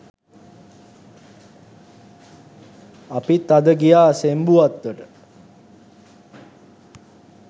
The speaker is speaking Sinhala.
අපිත් අද ගියා සෙම්බු වත්තට.